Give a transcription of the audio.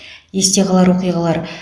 есте қалар оқиғалар